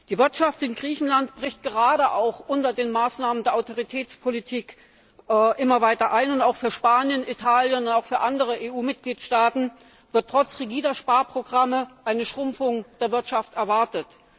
Die Wirtschaft in Griechenland bricht gerade auch unter den Maßnahmen der Austeritätspolitik immer weiter ein, und auch für Spanien, Italien und andere EU Mitgliedstaaten wird trotz rigider Sparprogramme eine Schrumpfung der Wirtschaft erwartet.